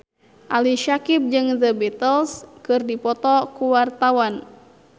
Ali Syakieb jeung The Beatles keur dipoto ku wartawan